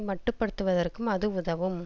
மட்டுப்படுத்துவதற்கும் அது உதவும்